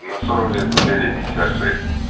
на сорок лет победы пятьдесят шесть